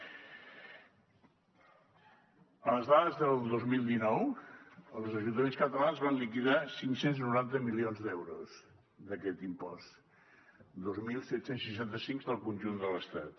en les dades del dos mil dinou els ajuntaments catalans van liquidar cinc cents i noranta milions d’euros d’aquest impost dos mil set cents i seixanta sis del conjunt de l’estat